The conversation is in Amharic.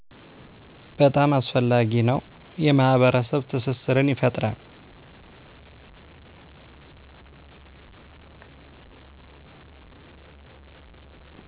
በጣም አስፈላጊ ነው የማህበረሰብ ትስስርን ይፈጥራል